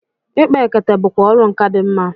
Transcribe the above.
Ịkpa ekete bụkwa ọrụ nkà dị mma.